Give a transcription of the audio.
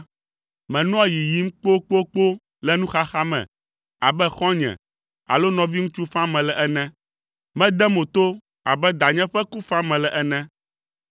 menɔa yiyim kpokpokpo le nuxaxa me abe xɔ̃nye alo nɔviŋutsu fam mele ene. Medea mo to abe danye ƒe ku fam mele ene.